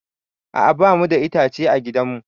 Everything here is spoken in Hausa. A'a ba mu da itace a gidan mu